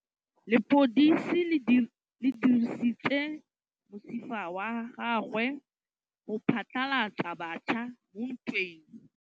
Lepodisa le dirisitse mosifa wa gagwe go phatlalatsa batšha mo ntweng.